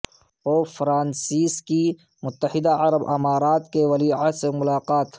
pope Francis کی متحدہ عرب امارات کے ولیعہد سے ملاقات